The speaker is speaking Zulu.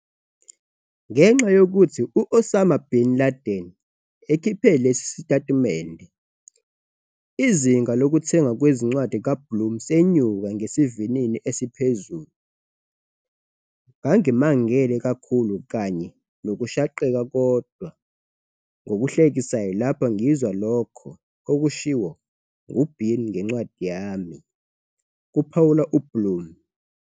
Ngenxa yokuthi u-Osama bin Laden ekhiphe lesi sitatimende, izinga lokuthengwa kwencwadi kaBlum senyuka ngesivinini esiphezulu. "Ngangimangele kakhulu kanye nokushaqeka kodwa ngokuhlekisayo lapho ngizwa lokho okushiwo nguBin ngencwadi yami," kuphawula uBlum.